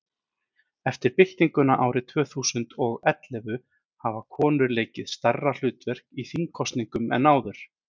eftir byltinguna árið tvö þúsund og og ellefu hafa konur leikið stærra hlutverk í þingkosningum en áður